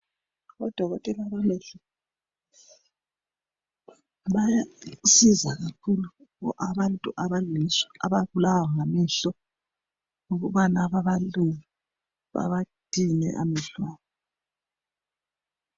Odokotela bamehlo bayasiza kakhulu abantu ababulawa ngamehlo ukubana babakline amehlo abo.